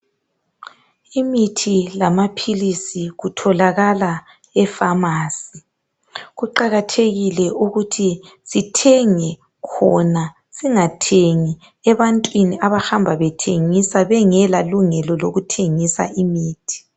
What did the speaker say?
Imithi lamaphilisi kutholakala efamasi. Kuqakathekile ukuthi sithenge khona, singathengi ebantwini abahamba bethengisa bengelalo ilungelo.